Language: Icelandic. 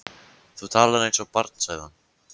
Þú talar eins og barn sagði hann.